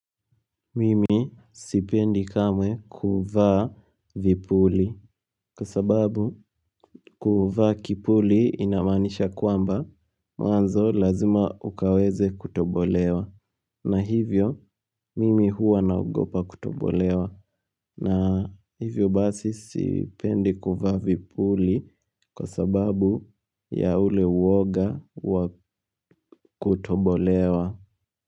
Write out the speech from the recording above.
Mimi sipendi kamwe kuvaa vipuli kwa sababu kuvaa kipuli inamanisha kwamba mwanzo lazima ukaweze kutobolewa na hivyo mimi huwa na ogopa kutobolewa na hivyo basi sipendi kuvaa vipuli kwa sababu ya ule uwoga wa kutobolewa.